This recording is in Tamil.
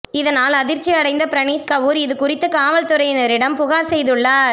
இதனால் அதிர்ச்சி அடைந்த பிரனீத் கவுர் இது குறித்து காவல்துறையினரிடம் புகார் செய்துள்ளார்